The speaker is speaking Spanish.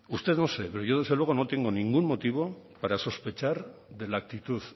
usted no sé pero yo desde luego no tengo ningún motivo para sospechar de la actitud